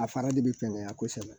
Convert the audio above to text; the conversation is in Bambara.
A fara de bi fɛŋɛ kosɛbɛ